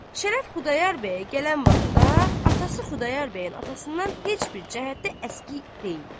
Şərəf Xudayar bəyə gələn vaxtda atası Xudayar bəyin atasından heç bir cəhətdə əskik deyildi.